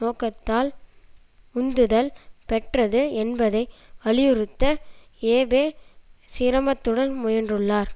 நோக்கத்தால் உந்துதல் பெற்றது என்பதை வலியுறுத்த ஏபே சிரமத்துடன் முயன்றுள்ளார்